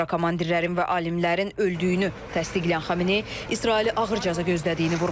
Bir sıra komandirlərin və alimlərin öldüyünü təsdiqləyən Xamenei İsraili ağır cəza gözlədiyini vurğulayıb.